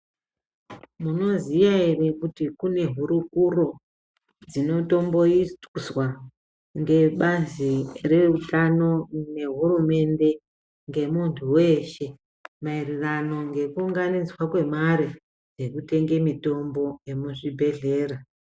Munoziya here kuti kune hurukuro, dzinotomboyiswa ngebazi rehutano nehurumende ngemuntu weshe, mayererano ngekuwunganidzva kwemari yekutenge mitombo yemuzvibhedhlera.